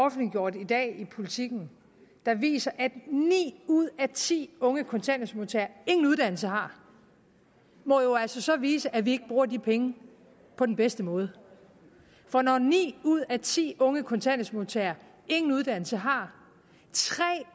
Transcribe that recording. offentliggjort i dag i politiken der viser at ni ud af ti unge kontanthjælpsmodtagere ingen uddannelse har må jo altså så vise at vi ikke bruger de penge på den bedste måde for når ni ud af ti unge kontanthjælpsmodtagere ingen uddannelse har tre